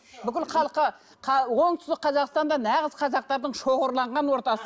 бүкіл халқы оңтүстік қазақстанда нағыз қазақтардың шоғырланған ортасы